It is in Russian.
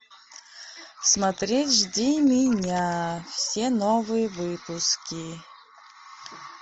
смотреть жди меня все новые выпуски